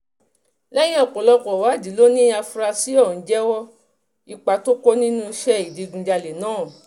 lẹ́yìn ọ̀pọ̀lọpọ̀ ìwádìí ló ní àfúrásì ọ̀hún jẹ́wọ́ ipa tó kó nínú ìṣẹ̀lẹ̀ ìdígunjalè náà